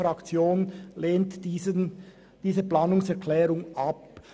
Sie lehnt diese Planungserklärung ab.